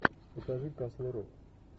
покажи касл рок